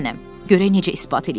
Görək necə ispat eləyirlər?